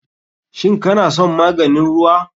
Shin kana son maganin ruwa?